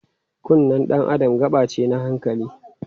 Kunnen dan Adam gaɓa ce na hankali.